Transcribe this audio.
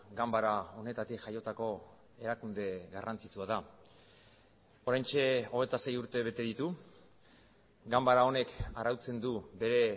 ganbara honetatik jaiotako erakunde garrantzitsua da oraintxe hogeita sei urte bete ditu ganbara honek arautzen du bere